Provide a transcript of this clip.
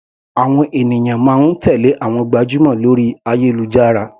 Àwọn ènìyàn máa ń tèlé àwọn gbajúmọ̀ lórí ayélujára.